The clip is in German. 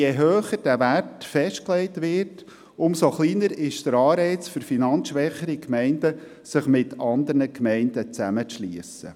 Je höher dieser Wert festgelegt wird, desto kleiner ist der Anreiz für finanzschwächere Gemeinden, sich mit anderen Gemeinden zusammenzuschliessen.